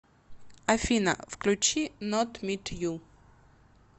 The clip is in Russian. афина включи нот мит ю